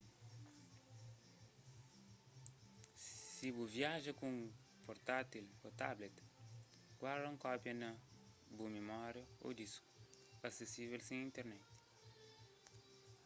si bu viaja ku un portátil ô tablet guarda un kópia na bu mimória ô disku asesível sen internet